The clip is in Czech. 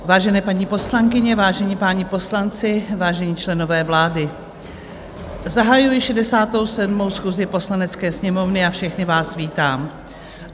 Vážené paní poslankyně, vážení páni poslanci, vážení členové vlády, zahajuji 67. schůzi Poslanecké sněmovny a všechny vás vítám.